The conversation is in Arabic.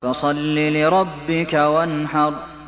فَصَلِّ لِرَبِّكَ وَانْحَرْ